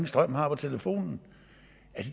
strøm har på telefonen